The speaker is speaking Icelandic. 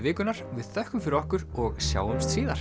vikunnar við þökkum fyrir okkur og sjáumst síðar